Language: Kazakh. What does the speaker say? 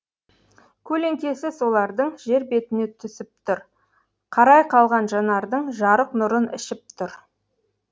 көлеңкесі солардың жер бетіне түсіп тұр қарай қалған жанардың жарық нұрын ішіп тұр